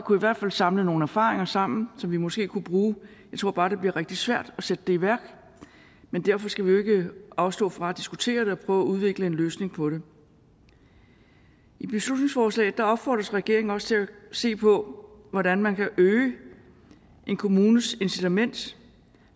kunne i hvert fald samle nogle erfaringer sammen som vi måske kunne bruge jeg tror bare det bliver rigtig svært at sætte det i værk men derfor skal vi jo ikke afstå fra at diskutere det og prøve udvikle en løsning på det i beslutningsforslaget opfordres regeringen også til at se på hvordan man kan øge en kommunes incitament